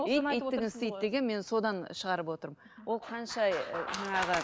ит иттігін істейді деген мен содан шығарып отырмын ол қанша жаңағы